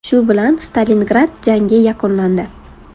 Shu bilan Stalingrad jangi yakunlandi.